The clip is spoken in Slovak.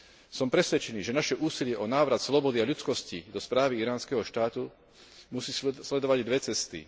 Som presvedčený, že naše úsilie o návrat slobody a ľudskosti do správy iránskeho štátu musí sledovať dve cesty.